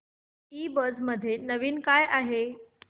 ईबझ मध्ये नवीन काय आहे